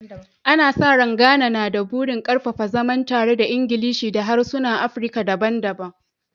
Ana sa rai, Ghana na da burin ƙarfafa zaman tare da Ingilishi da harsunan Afirka daban-daban